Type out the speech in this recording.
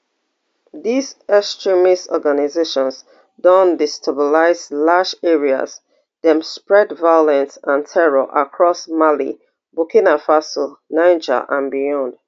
dis extremist organisations don destabilise large areas dem spread violence and terror across mali burkina faso niger and beyond